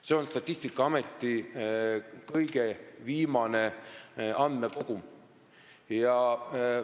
See info on pärit Statistikaameti kõige viimasest andmekogust.